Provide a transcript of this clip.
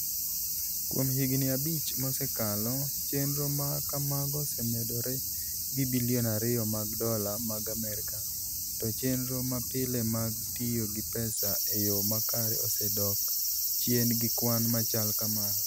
Kuom higini abich mosekalo, chenro ma kamago osemedore gi bilion ariyo mag dola mag Amerka, to chenro mapile mag tiyo gi pesa e yo makare osedok chien gi kwan machal kamano.